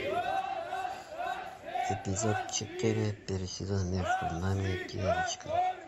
эпизод четыре первый сезон между нами девочками